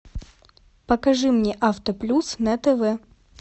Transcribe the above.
покажи мне авто плюс на тв